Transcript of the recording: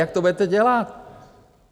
Jak to budete dělat?